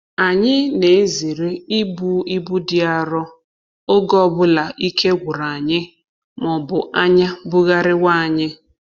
Anyị na-ezere ibu ibu dị arọ oge ọ bụla ike gwụrụ anyị ma ọ bụ anya bugharịwa anyị.